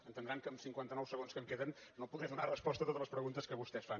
entendran que amb cinquanta nou segons que em queden no podré donar resposta a totes les preguntes que vostès fan